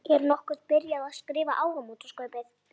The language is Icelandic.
Er nokkuð byrjað að skrifa áramótaskaupið?